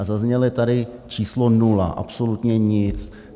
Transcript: A zaznělo tady číslo nula, absolutně nic.